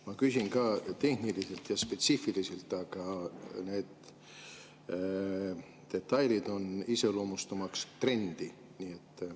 Ma küsin ka tehniliselt ja spetsiifiliselt, aga need detailid on iseloomustamaks trendi.